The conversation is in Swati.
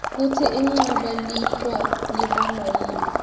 kutsi inqabe licwa libangwaytni